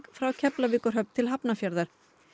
frá Keflavíkurhöfn til Hafnarfjarðar